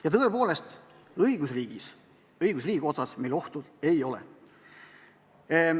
Ja tõepoolest, õigusriigi koha pealt meil ohtu ei ole.